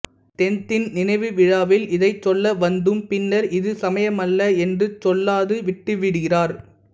dentine நினைவு விழாவில் இதை சொல்ல வந்தும் பின்னர் இது சமயமல்ல என்று சொல்லாது விட்டுவிடுகிறார்